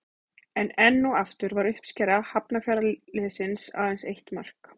En enn og aftur var uppskera Hafnarfjarðarliðsins aðeins eitt mark.